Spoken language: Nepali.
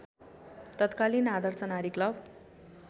तत्कालिन आदर्श नारी क्लब